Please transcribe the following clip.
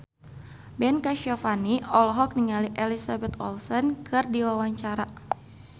Ben Kasyafani olohok ningali Elizabeth Olsen keur diwawancara